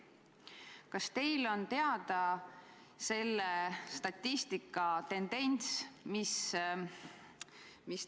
Kas teile on teada selle statistika tendents?